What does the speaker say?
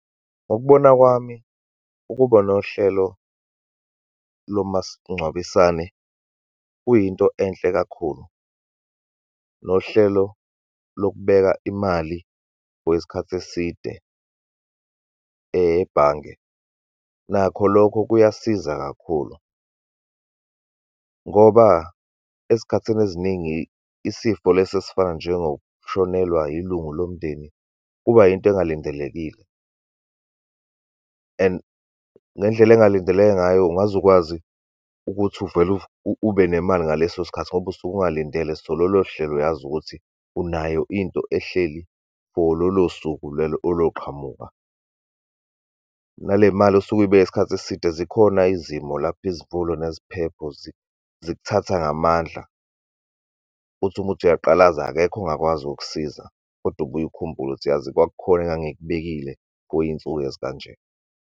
Ngokubona kwami, ukuba nohlelo lomasingcwabisane kuyinto enhle kakhulu, nohlelo lokubeka imali for isikhathi eside ebhange, nakho lokho kuyasiza kakhulu. Ngoba ezikhathini eziningi, isifo lesi esifana njengokushonelwa ilungu lomndeni kuba yinto engalindelekile and ngendlela engalindeleka ngayo, ungaze ukwazi ukuthi uvele ube nemali ngaleso sikhathi, ngoba usuke ungalindele. So, lolo hlelo, uyazi ukuthi unayo into ehleli for lolo suku lolo oluqhamuka. Nale mali osuke uyibeke isikhathi eside, zikhona izimo lapho izivulo neziphepho, zikuthatha ngamandla, uthi uma uthi uyaqalaza, akekho ongakwazi ukukusiza, kodwa ubuye ukhumbule ukuthi, yazi kwakukhona engangikubekile kuyinsuku ezikanje.